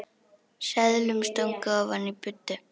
Seðlum stungið ofan í buddu.